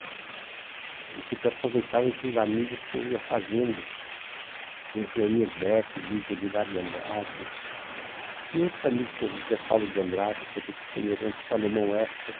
Eu sempre aproveitava esses amigos que eu ia fazendo, com o Joemir Betti, Luiz Edgar de Andrade e outros amigos, José Paulo de Andrade, também do Paneirantes, Salomão Esper.